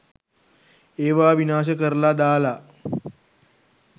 ඒවා විනාශ කරලා දාලා